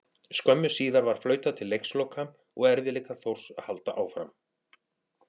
Skömmu síðar var flautað til leiksloka og erfiðleikar Þórs halda áfram.